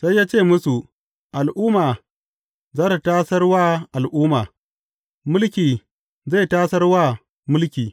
Sai ya ce musu, Al’umma za tă tasar wa al’umma, mulki zai tasar wa mulki.